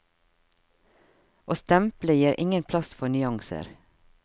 Å stemple gir ingen plass for nyanser.